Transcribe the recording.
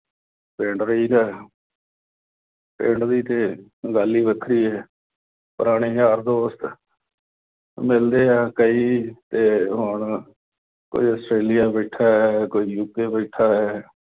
ਪਿੰਡ ਰਹੀਦਾ। ਪਿੰਡ ਦੀ ਤੇ ਗੱਲ ਈ ਵੱਖਰੀ ਐ। ਪੁਰਾਣੇ ਯਾਰ-ਦੋਸਤ ਮਿਲਦੇ ਆ ਕਈ ਤੇ ਹੁਣ ਕੋਈ ਆਸਟ੍ਰਲੀਆ ਬੈਠਾ, ਕੋਈ ਯੂ. ਕੇ. ਬੈਠਾ।